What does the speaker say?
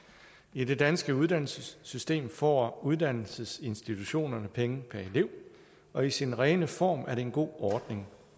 i det danske uddannelsessystem får uddannelsesinstitutionerne penge per elev og i sin rene form er det en god ordning